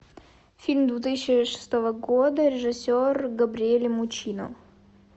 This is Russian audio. фильм две тысячи шестого года режиссер габриэле муччино